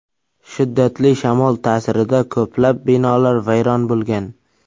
Shiddatli shamol ta’sirida ko‘plab binolar vayron bo‘lgan.